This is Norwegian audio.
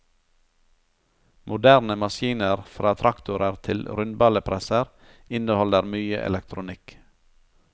Moderne maskiner fra traktorer til rundballepresser, inneholder mye elektronikk.